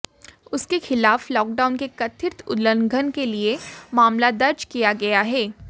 उसके खिलाफ लॉकडाउन के कथित उल्लंघन के लिए मामला दर्ज किया गया है